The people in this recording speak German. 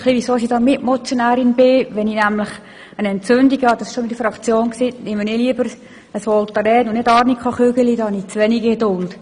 Ich habe es auch in der Fraktion schon erzählt: Wenn ich nämlich eine Entzündung habe, nehme ich lieber Voltaren als Arnika-«Chügeli», denn dafür habe ich zu wenig Geduld.